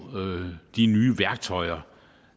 de nye værktøjer